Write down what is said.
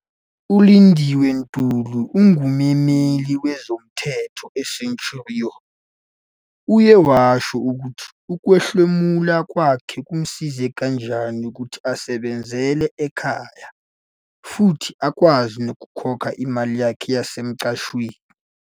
ULindiwe Ntuli, ongummeli wezomthetho e-Centurion, uye washo ukuthi ukuhlomula kwakhe kumsize kanjani ukuthi asebenzele ekhaya futhi akwazi nokukhokha imali yakhe yasemqashweni.